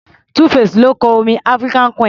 2-face ló kọ orin African queen.